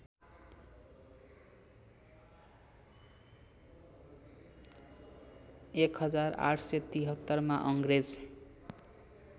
१८७३ मा अङ्ग्रेज